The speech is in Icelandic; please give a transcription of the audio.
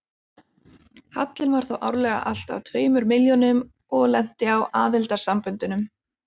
Hallinn var því árlega alltað tveimur milljónum og lenti á aðildarsamböndunum.